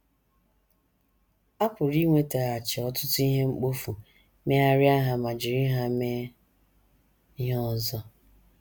A pụrụ iwetaghachi ọtụtụ ihe mkpofu, megharịa ha ma jiri ha mee ihe ọzọ....